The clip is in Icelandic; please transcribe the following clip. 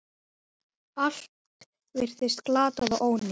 Allt virtist glatað og ónýtt.